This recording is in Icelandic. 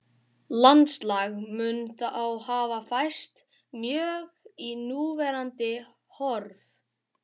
Landslag mun þá hafa færst mjög í núverandi horf.